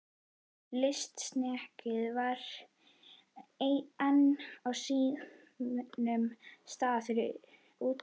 Lystisnekkjan var enn á sínum stað úti fyrir.